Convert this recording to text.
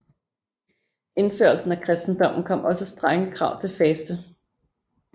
Med indførelsen af kristendommen kom også strenge krav til faste